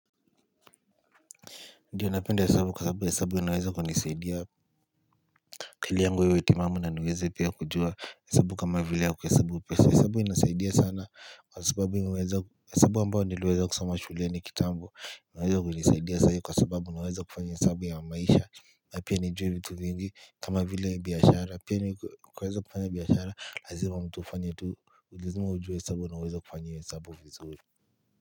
Ndiyo napenda hesabu kwa sababu hesabu hesabu inaweza kunisaidia akili yangu iwe timamu na niweza pia kujua hesabu kama vile ya kuhesabu pesa hesabu inasaidia sana kwa sababu hesabu ambao niliweza kusoma shuleni kitambo inaweza kunisaidia saa hii kwa sababu naweza kufanya hesabu ya maisha na pia nijue vitu vingi kama vile biashara pia ni kuweza kufanya biashara lazima mtu ufanye tu lazima ujue hesabu na uweze kufanya hiyo hesabu vizuri.